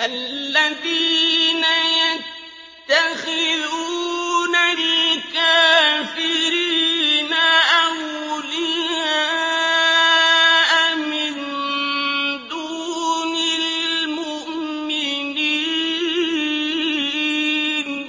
الَّذِينَ يَتَّخِذُونَ الْكَافِرِينَ أَوْلِيَاءَ مِن دُونِ الْمُؤْمِنِينَ ۚ